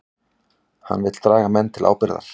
Hann vill draga menn til ábyrgðar